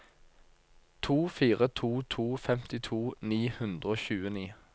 to fire to to femtito ni hundre og tjueni